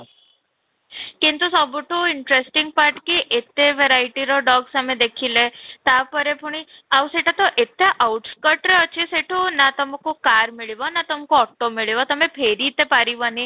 କିନ୍ତୁ ସବୁଠୁ interesting part କି ଏତେ verity ର dogs ଆମେ ଦେଖିଲେ, ତା'ପରେ ପୁଣି ଆଉ ସେଟା ତ ଏଇଟା out cost ରେ ଅଛି ନା ତମକୁ car ମିଳିବ ନା ତମକୁ auto ମିଳିବ ତୋମେ ଫେରି ତ ପାରିବନି